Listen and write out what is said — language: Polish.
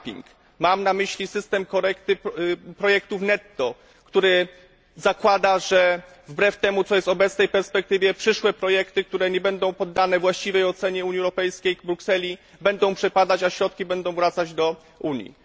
capping mam na myśli system korekty projektów netto, który zakłada, że wbrew temu, co jest w obecnej perspektywie przyszłe projekty, które nie będą poddane właściwej ocenie Unii Europejskiej, w Brukseli będą przepadać, a środki będą wracać do Unii.